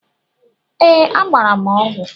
Ee. Agbara m ọgwu